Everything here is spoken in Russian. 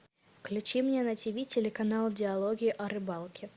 включи мне на тиви телеканал диалоги о рыбалке